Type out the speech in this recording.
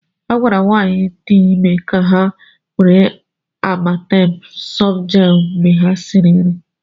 A gwara nwanyị niile dị ime ka ha were Amatem softgel mgbe ha risịrị nri.